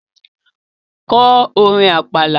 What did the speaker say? Ko orin Àpàlà!